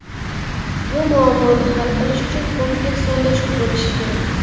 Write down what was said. Bu muammoni hal qilish uchun kompleks yondashuv bo‘lishi kerak.